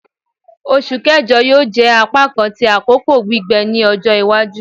Oṣu Kẹjọ yoo jẹ apakan ti akoko gbigbẹ ni ọjọ iwaju